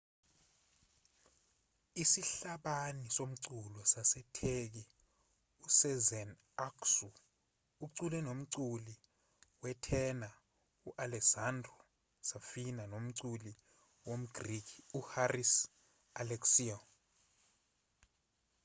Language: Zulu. isihlabani somculo sasetheki usezen aksu ucule nomculi wetena u-alessandro safina nomculi womgriki uharis alexiou